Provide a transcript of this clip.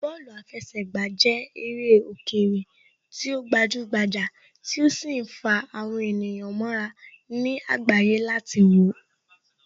Bọ́ọ̀lù àfẹsẹ̀gbà jẹ́ eré òkèèrè tí ó gbajúgbajà tí ó sì ń fa àwọn ènìyàn mọ́ra ní àgbáyé láti wòó